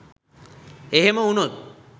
එහෙම වුනොත්